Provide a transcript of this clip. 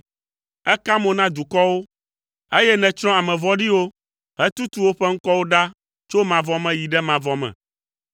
Èka mo na dukɔwo, eye nètsrɔ̃ ame vɔ̃ɖiwo hetutu woƒe ŋkɔwo ɖa tso mavɔ me yi ɖe mavɔ me.